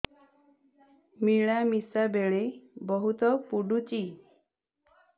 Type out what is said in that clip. ମିଳାମିଶା ବେଳେ ବହୁତ ପୁଡୁଚି